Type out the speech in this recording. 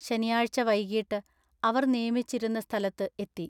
ശനിയാഴ്ച വൈകീട്ടു അവർ നിയമിച്ചിരുന്ന സ്ഥലത്തു എത്തി.